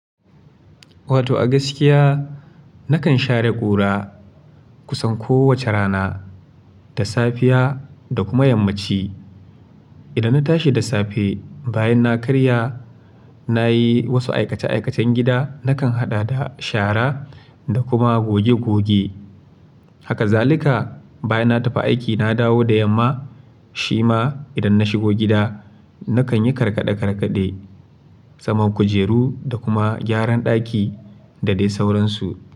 Wato a gaskiya nakan share ƙura kusan kowace rana, da safiya da kuma yammaci. Idan na tashi da safe, bayan na karya, na yi wasu aikace-aikacen gida, nakan haɗa da shara da kuma goge goge. Haka zalika, bayan na tafi aiki na dawo da yamma, shi ma idan na shigo gida nakan yi karkade-karkade, saman kujeru da kuma gyaran ɗaki da dai sauransu.